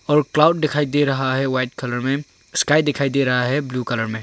और क्लाउड दिखाई दे रहा है वाइट कलर में स्काई दिखाई दे रहा है ब्लू कलर में।